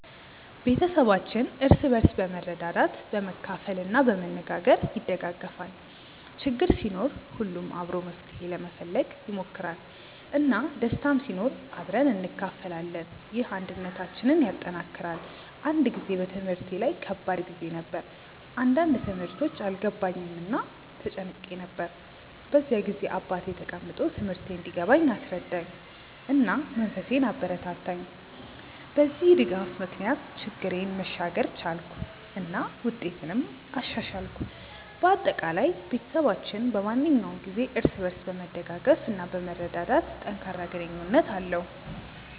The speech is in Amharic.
ቤተሰባችን እርስ በርስ በመርዳት፣ በመካፈል እና በመነጋገር ይደጋገፋል። ችግር ሲኖር ሁሉም አብሮ መፍትሄ ለመፈለግ ይሞክራል፣ እና ደስታም ሲኖር አብረን እንካፈላለን። ይህ አንድነታችንን ያጠናክራል። አንድ ጊዜ በትምህርቴ ላይ ከባድ ጊዜ ነበር፣ አንዳንድ ትምህርቶች አልገባኝም እና ተጨንቄ ነበር። በዚያ ጊዜ አባቴ ተቀምጦ ትምህርቴን እንዲገባኝ አስረዳኝ፣ እና መንፈሴን አበረታታኝ። በዚህ ድጋፍ ምክንያት ችግሬን መሻገር ቻልኩ እና ውጤቴንም አሻሻልኩ። በአጠቃላይ፣ ቤተሰባችን በማንኛውም ጊዜ እርስ በርስ በመደገፍ እና በመርዳት ጠንካራ ግንኙነት አለው።